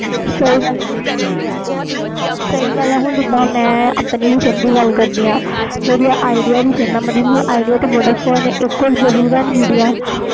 ਸਹੀ ਗੱਲ ਆ ਹੁਣ ਜੇ ਆਪਣੀ sim ਦੀ ਗੱਲ ਕਰਦੀ ਆ ਜਿਹੜੀ idea sim ਦੀ